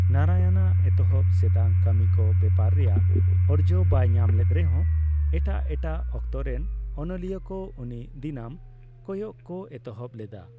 ᱱᱟᱨᱟᱭᱚᱱᱟᱜ ᱮᱛᱦᱚᱵ ᱥᱮᱫᱟᱜ ᱠᱟᱢᱤ ᱠᱚ ᱵᱮᱯᱟᱨ ᱨᱮᱭᱟᱜ ᱚᱨᱡᱚ ᱵᱟᱭ ᱧᱟᱢ ᱞᱮᱫ ᱨᱮᱦᱚ ᱮᱴᱟᱜ ᱮᱴᱟᱜ ᱚᱠᱛᱚ ᱨᱮᱱ ᱚᱱᱚᱞᱤᱭᱟᱹ ᱠᱚ ᱩᱱᱤ ᱫᱤᱱᱟᱹᱢ ᱠᱚᱭᱚᱜ ᱠᱚ ᱮᱛᱚᱦᱚᱵ ᱞᱮᱫᱟ ᱾